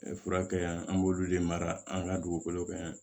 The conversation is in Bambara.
Fura kɛ yan an b'olu de mara an ka dugukolo kan yan